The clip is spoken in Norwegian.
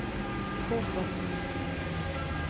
Trofors